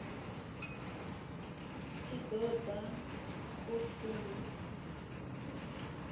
tshi ṱo ḓa u ṱun